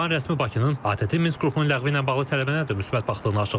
İrəvan rəsmi Bakının ATƏT-in Minsk qrupunu ləğvi ilə bağlı tələbinə də müsbət baxdığını açıqlayıb.